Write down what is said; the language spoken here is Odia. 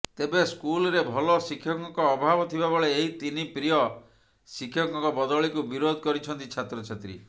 ତେବେ ସ୍କୁଲରେ ଭଲ ଶିକ୍ଷକଙ୍କ ଅଭାବ ଥିବାବେଳେ ଏହି ତିନି ପ୍ରିୟ ଶିକ୍ଷକଙ୍କ ବଦଳିକୁ ବିରୋଧ କରିଛନ୍ତି ଛାତ୍ରଛାତ୍ରୀ